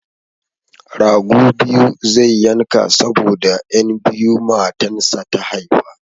Rago biyu zai yanka saboda 'yan biyu matansa ta haifa.